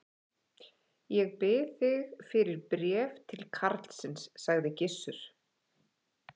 Heimir Már: Geymst ansi vel allan þennan tíma?